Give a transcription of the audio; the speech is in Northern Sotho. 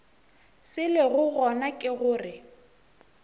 se lego gona ke gore